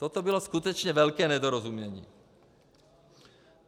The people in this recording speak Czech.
Toto bylo skutečně velké nedorozumění.